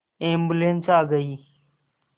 ambulance आ गई